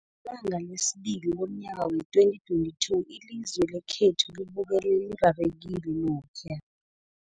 Ngelanga lesibili lomnyaka wee-2022, ilizwe lekhethu libukele lirarekile lokhuya